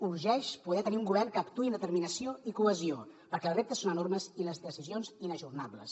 urgeix poder tenir un govern que actuï amb determinació i cohesió perquè els reptes són enormes i les decisions inajornables